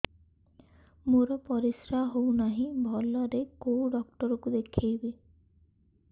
ମୋର ପରିଶ୍ରା ହଉନାହିଁ ଭଲରେ କୋଉ ଡକ୍ଟର କୁ ଦେଖେଇବି